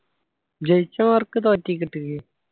ജയിച്ച mark തോറ്റേയ്ക്ക് ഇട്ടുക്കു